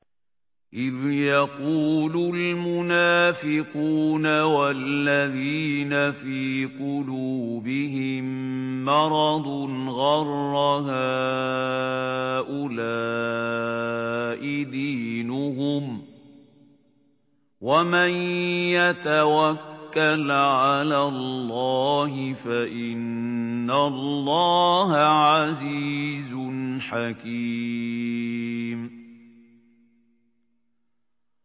إِذْ يَقُولُ الْمُنَافِقُونَ وَالَّذِينَ فِي قُلُوبِهِم مَّرَضٌ غَرَّ هَٰؤُلَاءِ دِينُهُمْ ۗ وَمَن يَتَوَكَّلْ عَلَى اللَّهِ فَإِنَّ اللَّهَ عَزِيزٌ حَكِيمٌ